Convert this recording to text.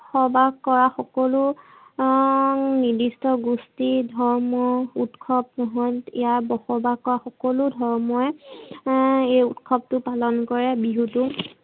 বসবাস কৰা সকলো হম নিৰ্দিষ্ট গোষ্ঠী, ধৰ্ম ঊৎসৱ সমুহত ইয়াত বসবাস কৰা সকলো ধৰ্ময়ে এই ঊৎসৱতো পালন কৰে বিহুতো